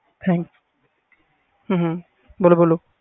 ਹੂੰ ਬੋਲੋ ਬੋਲੋ